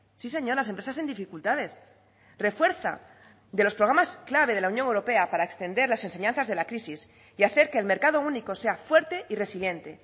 sí señor las empresas en dificultades refuerza de los programas clave de la unión europea para extender las enseñanzas de la crisis y hacer que el mercado único sea fuerte y resiliente